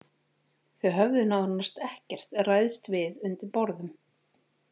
Þau höfðu nánast ekkert ræðst við undir borðum.